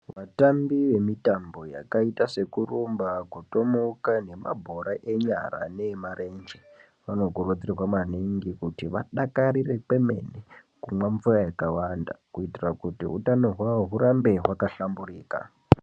Vatambi vemutambo yakaita sekurumba ,kutomuka nemabhora enyara neemarenje vanokurudzirwa maningi kuti vadakarire pemene kumwa mvura yakawanda kuitira kuti utano hwavo hurambe hwakahlamburika .